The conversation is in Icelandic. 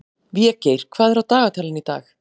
Végeir, hvað er á dagatalinu í dag?